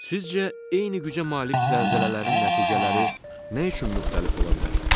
Sizcə eyni gücə malik zəlzələlərin nəticələri nə üçün müxtəlif ola bilər?